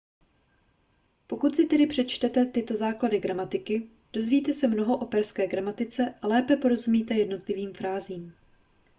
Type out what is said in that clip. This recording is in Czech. pokud si tedy přečtete tyto základy gramatiky dozvíte se mnoho o perské gramatice a lépe porozumíte jednotlivým frázím